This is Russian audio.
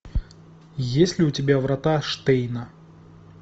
есть ли у тебя врата штейна